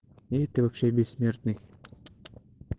и ты вообще бессмертный